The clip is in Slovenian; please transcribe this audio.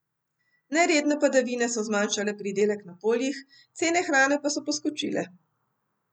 Neredne padavine so zmanjšale pridelek na poljih, cene hrane pa so poskočile.